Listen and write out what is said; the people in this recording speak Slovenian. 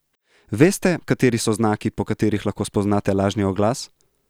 Veste, kateri so znaki, po katerih lahko spoznate lažni oglas?